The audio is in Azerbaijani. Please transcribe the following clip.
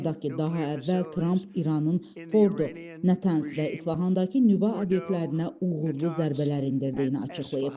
Xatırladaq ki, daha əvvəl Tramp İranın Fordu, Nətənz və İsfahandakı nüvə obyektlərinə uğurlu zərbələr endirdiyini açıqlayıb.